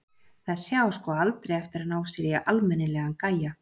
Þessi á sko aldrei eftir að ná sér í almennilegan gæja.